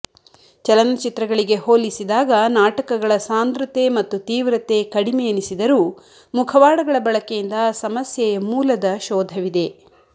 ಚಲನಚಿತ್ರಗಳಿಗೆ ಹೋಲಿಸಿದಾಗ ನಾಟಕಗಳ ಸಾಂದ್ರತೆ ಮತ್ತು ತೀವ್ರತೆ ಕಡಿಮೆಯೆನಿಸಿದರೂ ಮುಖವಾಡಗಳ ಬಳಕೆಯಿಂದ ಸಮಸ್ಯೆಯ ಮೂಲದ ಶೋಧವಿದೆ